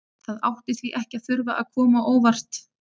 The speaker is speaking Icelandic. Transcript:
Það átti því ekki að þurfa að koma á óvart að